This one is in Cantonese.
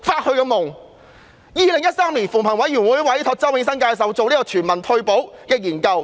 在2013年，扶貧委員會委託周永新教授就全民退休保障進行研究。